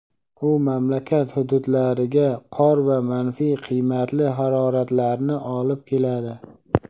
U mamlakat hududlariga qor va manfiy qiymatli haroratlarni olib keladi.